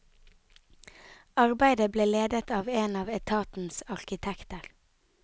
Arbeidet ble ledet av en av etatens arkitekter.